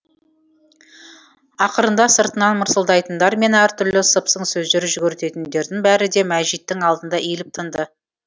ақырында сыртынан мырсылдайтындар мен әртүрлі сыпсың сөздер жүгіртетіндердің бәрі де мәжиттің алдында иіліп тынды